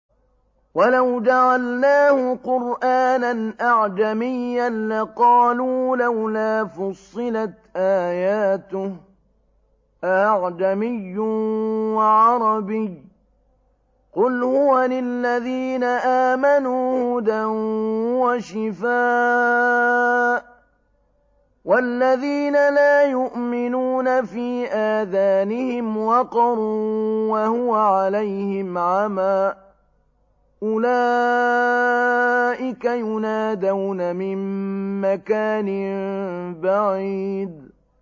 وَلَوْ جَعَلْنَاهُ قُرْآنًا أَعْجَمِيًّا لَّقَالُوا لَوْلَا فُصِّلَتْ آيَاتُهُ ۖ أَأَعْجَمِيٌّ وَعَرَبِيٌّ ۗ قُلْ هُوَ لِلَّذِينَ آمَنُوا هُدًى وَشِفَاءٌ ۖ وَالَّذِينَ لَا يُؤْمِنُونَ فِي آذَانِهِمْ وَقْرٌ وَهُوَ عَلَيْهِمْ عَمًى ۚ أُولَٰئِكَ يُنَادَوْنَ مِن مَّكَانٍ بَعِيدٍ